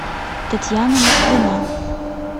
татьяна москвина